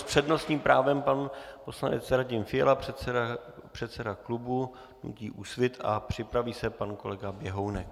S přednostním právem pan poslanec Radim Fiala, předseda klubu hnutí Úsvit, a připraví se pan kolega Běhounek.